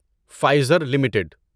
Pfizer limited